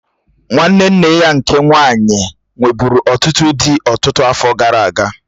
Nwanne nne ya nke nwaanyị nwebụ̀ru ọtụtụ dị ọtụtụ afọ gara aga.